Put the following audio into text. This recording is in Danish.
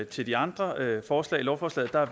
til de andre forslag i lovforslaget er